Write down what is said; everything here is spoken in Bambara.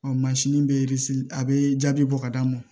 bɛ a bɛ jaabi bɔ ka d'a ma